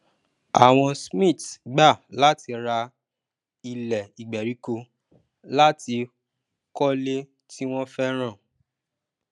àwọn smiths gbà láti rà ílẹ ìgbèríko latí kólé tí wọn fẹràn